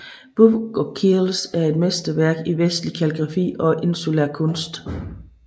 Book of Kells er et mesterværk i vestlig kalligrafi og insulær kunst